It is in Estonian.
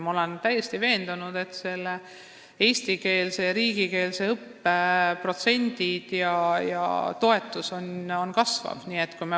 Ma olen täiesti veendunud, et eestikeelse, st riigikeelse õppe protsendid ja toetus sellele õppele kasvavad.